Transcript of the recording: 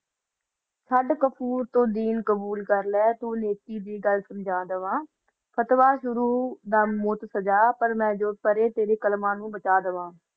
ਚੜ ਕੋਫ਼ਰ ਨੂ ਤੋ ਦਿਨ ਕਬੋਲ ਕਰ ਲਾ ਤਨੋ ਦਿਨ ਸੰਜਾ ਦਵਾ ਫ਼ਤਵਾ ਲਗਾ ਦਵਾ ਪਾ ਜੋ ਪਾਰਾਕਾਲ੍ਮਾ ਓਨੋ ਪੈਜਾ ਦਵਾ